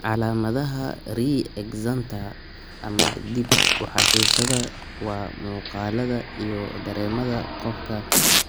calamadaha re excenta ama dib u xasuusnaada waa muuqaallada iyo dareemada qofka